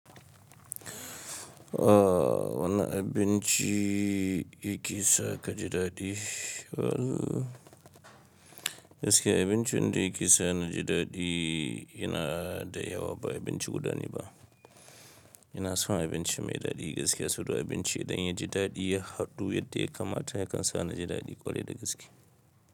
Ah wane abinci yake sa ka ji daɗi. Gaskiya abincin da yake sa na ji daɗi yana da yawa ba abinci guda ne ba. Ina son abinci mai daɗi gaskiya saboda abinci idan ya ji daɗi ya hadu yadda ya kamata yakan sa na ji daɗi ƙwarai da gaskiya.